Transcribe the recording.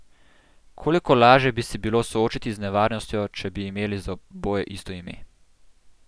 Koliko lažje bi se bilo soočiti z nevarnostjo, če bi imeli za oboje isto ime!